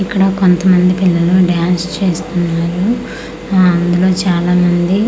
ఇక్కడ కొంతమంది పిల్లలు డాన్స్ చేస్తున్నారు ఆ అందులో చాలామంది --